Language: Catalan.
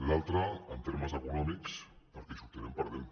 l’altre en termes econòmics perquè hi sortirem perdent